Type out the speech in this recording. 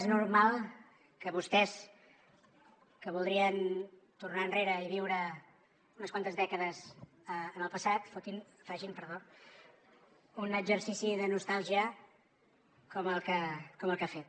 és normal que vostès que voldrien tornar enrere i viure unes quantes dècades en el passat fotin facin perdó un exercici de nostàlgia com el que ha fet